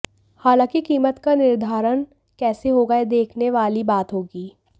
हालांकि कीमत का निर्धारण कैसे होगा यह देखने वाली बात होगी